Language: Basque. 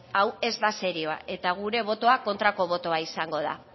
hau ez da serioa eta gure botoa kontrako botoa izango da